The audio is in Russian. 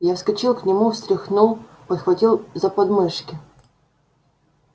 я подскочил к нему встряхнул подхватил за подмышки